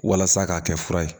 Walasa k'a kɛ fura ye